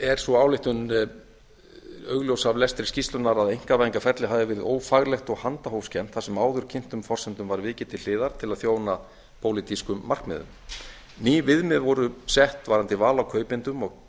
er sú ályktun augljós af lestri skýrslunnar að einkavæðingarferlið hafi verið ófaglegt og handahófskennt þar sem áðurkynntum forsendum var vikið til hliðar til að þjóna pólitískum markmiðum ný viðmið voru sett varðandi val á kaupendum